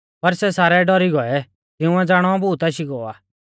पर सै सारै डौरी गौऐ तिंउऐ ज़ाणौ भूत आशी गौ आ